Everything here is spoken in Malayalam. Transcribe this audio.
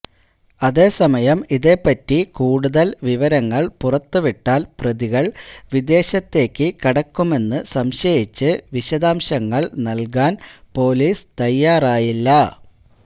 അതെ സമയം ഇതേപ്പറ്റി കൂടുതൽ വിവരങ്ങൾ പുറത്തു വിട്ടാൽ പ്രതികൾ വിദേശത്തേക്കു കടക്കുമെന്നു സംശയിച്ച് വിശദാംശങ്ങൾ നൽകാൻ പൊലീസ് തയ്യാറായില്ല